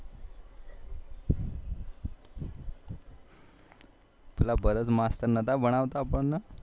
પેલા ભારત માસ્ટર નાતા ભણાવતા આપણને